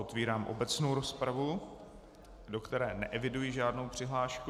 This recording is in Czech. Otevírám obecnou rozpravu, do které neeviduji žádnou přihlášku.